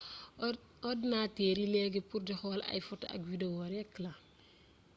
ordinater yi legui pour di xool ay foto ak video rek la